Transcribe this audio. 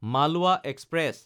Malwa express